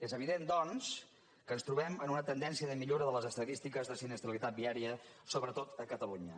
és evident doncs que ens trobem en una tendència de millora de les estadístiques de sinistralitat viària sobretot a catalunya